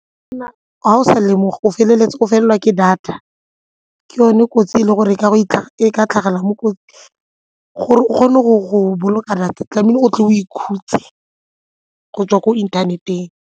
Ga o sa lemoga o feleletse o felelwa ke data, ke yone kotsi e ka tlhagelelang mo kotsing gore o kgone go boloka data tlamehile o tle o ikhutse go tswa ko inthaneteng.